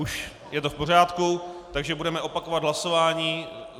Už je to v pořádku, takže budeme opakovat hlasování.